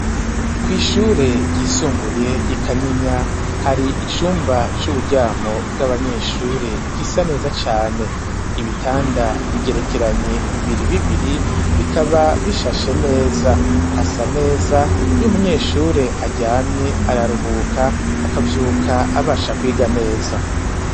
Kw'ishure ryisumbuye ry'i Kanyinya hari icumba c'uburyamo bw'abanyeshure gisa neza cane. Ibitanda bigerekeranye bibiri bibiri bikaba bishashe neza, hasa neza. Iyo umunyeshure aryamye araruhuka akavyuka abasha kwiga neza.